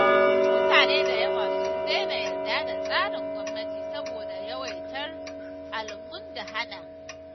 Mutane da yawa sun daina yarda da tsarin gwamnati saboda yawaitar almundahana.